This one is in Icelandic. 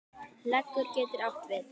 Leggur getur átt við